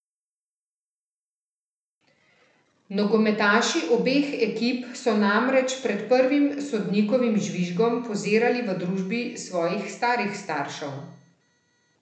Nogometaši obeh ekip so namreč pred prvim sodnikovim žvižgom pozirali v družbi svojih starih staršev.